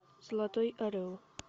золотой орел